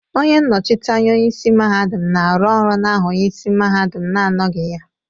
Onye nnochite anya onye isi mahadum na-arụ ọrụ n'aha onye isi mahadum na-anọghị ha.